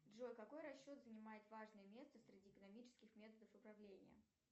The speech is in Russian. джой какой расчет занимает важное место среди экономических методов управления